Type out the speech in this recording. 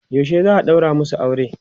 yaushe za'a ɗaura masu aure?